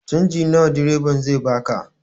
Canji nawa direba zai baka?